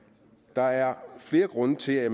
der er flere grunde til at